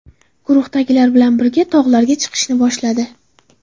Guruhdagilar bilan birgalikda tog‘larga chiqishni boshladi.